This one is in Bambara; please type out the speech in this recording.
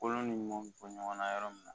Kolon ni ɲumanw bɔ ɲɔgɔnna yɔrɔ min na